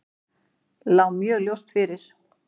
Lá mjög ljóst fyrir.